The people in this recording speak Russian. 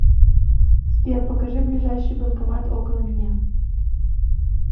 сбер покажи ближайший банкомат около меня